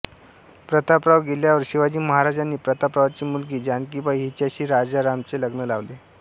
प्रतापराव गेल्यावर शिवाजी महाराजांनी प्रतापरावांची मुलगी जानकीबाई हिच्याशी राजारामाचे लग्न लावले